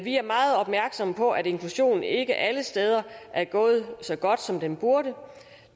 er meget opmærksomme på at inklusionen ikke alle steder er gået så godt som den burde